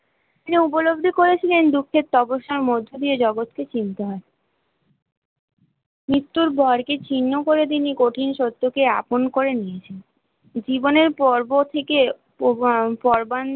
সে উপলব্ধি করেছিলেন দুঃখের তপস্যার মধ্যে দিয়ে এ জগত কে কিনতে হয়চিন্তা, মৃত্যুর বরকে ছিন্ন করে তিনি কঠিন সত্য কে আপন করে নিয়েছে, জীবনের পর্ব থেকে পর্বাণ